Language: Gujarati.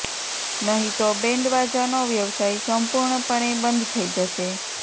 નહી તો બેન્ડવાજાનો વ્યવસાય સંપુર્ણ પણે બંધ થઇ જશે